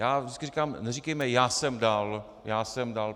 Já vždycky říkám neříkejme já jsem dal, já jsem dal.